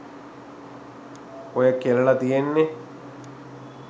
ඔය කෙලලා තියෙන්නේ